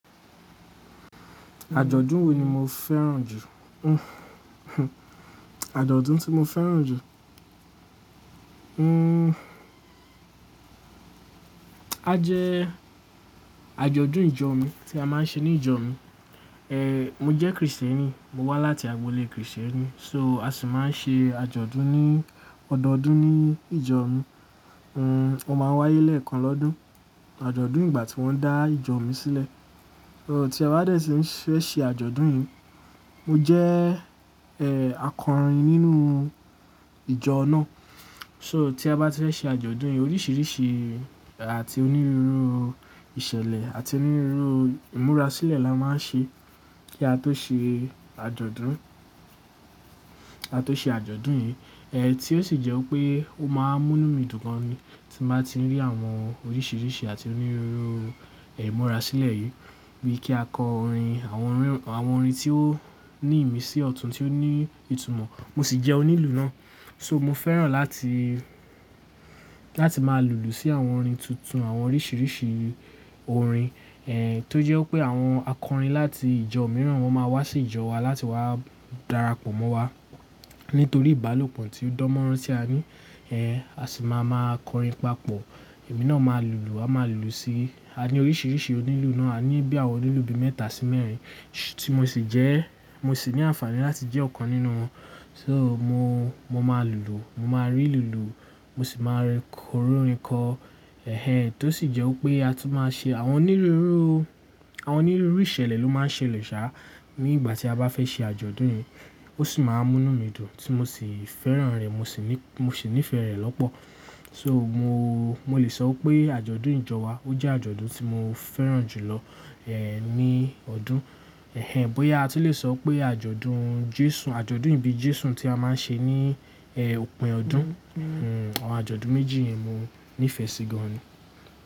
Àjọ̀dún wo ni mo fẹ́ràn jù? Àjọ̀dún tí mo fẹ́ràn jù. Hmmm. A jẹ àjọ̀dún ìjọ mi tí a máa ń ṣe ní ìjọ mi. Ehn, mo jẹ́ Kristẹni, mo wá láti agboolé Kristẹni, so a sì máa ń ṣe àjọ̀dún ní ọdọọdún ní ìjọ mi, o máa ń wáyé lẹ́ẹ̀kan lọ́dún, àjọ̀dún ìgbà tí wọ́n dá ìjọ mi sílẹ̀. Tí a bá dẹ̀ tí fẹ́ ṣe àjọ̀dún yẹn, mo jẹ́, ehn, akọrin nínú ìjọ náà. So tí a bá ti fẹ́ ṣe àjọ̀dún yẹn, oríṣiríṣi àti onírúurú ìṣẹ̀lẹ̀ àti onírúurú ìmúra sílẹ̀ la máa ń ṣe kí a tó ṣe àjọ̀dún, kí a tó ṣe àjọ̀dún yẹn. Eh, tí ó sì jẹ́ pé ó máa ń mú mí dùn gan ni tí mo bá ti rí àwọn oríṣiríṣi àti onírúurú, ehn, ìmúra sílẹ̀ yìí bíi kí a kọ orin, àwọn orin, àwọn orin tí ó ní ìmísí ọ̀tún tí ó ní ìtumọ̀, mo sì jẹ́ onílù náà. So mo fẹ́ràn láti, láti máa lùlù sí àwọn orin tuntun, àwọn oríṣiríṣi orin, ehn, tó jẹ́ pé àwọn akọrin láti ìjọ mìíràn wọ́n máa wá sí ìjọ wa láti wá darapọ̀ mọ́ wa nítorí ìbálòpọ̀ tí ó dánmọ́rán tí a ní. Ehn, a sì máa ma kọrin papọ̀. Ẹ̀mí náà máa lùlù, a máa lùlù sí, a ní oríṣiríṣi onílù náà, a ní bí àwọn onílù bí mẹ́ta sí mẹ́rin tí mo sì jẹ́, mo sì ní àǹfààní láti jẹ́ ọ̀kan nínú wọn. So mo, mo máa lùlù, mo máa rí'lù lù, mo sì máa RI orin kọ. Ẹ̀hẹn, tó sì jẹ́ pé a tún máa ṣe àwọn onírúurú, àwọn onírúurú ìṣẹ̀lẹ̀ ló máa ń ṣẹlẹ̀ sáá nígbà tí a bá fẹ́ ṣe àjọ̀dún yẹn. Ó sì máa ń mú mí dùn tí mo sì fẹ́ràn rẹ̀, mo sì ní, mo sì nífẹ̀ẹ́ rẹ̀ lọ́pọ̀. So mo, mo lè sọ pé àjọ̀dún ìjọ wa ó jẹ́ àjọ̀dún tí mo fẹ́ràn jù lọ, ehn, ní ọdún. Ẹ̀hẹn, bóyá a ti lè sọ pé àjọ̀dún Jésù, àjọ̀dún ìbí Jésù tí a máa ń ṣe ní, ehn, òpin ọdún. Nhu, àwọn àjọ̀dún méjì yìí mo nífẹ̀ẹ́ sí gan ni.